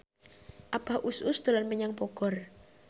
Abah Us Us dolan menyang Bogor